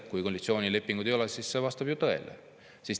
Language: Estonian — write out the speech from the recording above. Kui koalitsioonilepingut ei ole, siis see vastab ju tõele.